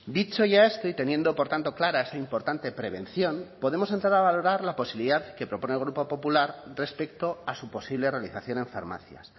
dicho ya esto y teniendo por tanto clara esa importante prevención podemos entrar a valorar la posibilidad que propone el grupo popular respecto a su posible realización en farmacias